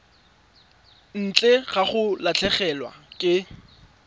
ntle ga go latlhegelwa ke